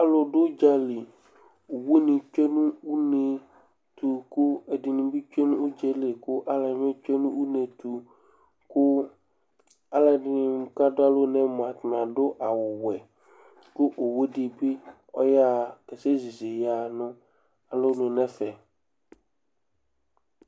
Alu ɖu udzali Owuní tsʋe ŋu ʋnɛyɛtu kʋ ɛɖìní bi tsʋe ŋu udzaeli kʋ alʋɛdìní bi tsʋe ŋu ʋnetu Aluɛɖìŋí ɖu alɔŋu aɖu awu wɛ kʋ owu ɖìbi ɔɣaha kasɛ zízì ɣaha ŋu alɔŋu ŋu ɛfɛ